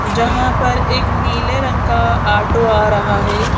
जहाँ पर एक नीले रंग का ऑटो आ रहा है।